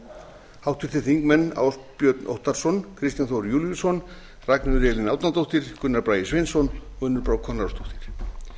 eru háttvirtir þingmenn ásbjörn óttarsson kristján þór júlíusson ragnheiður elín árnadóttir gunnar bragi sveinsson og unnur brá konráðsdóttir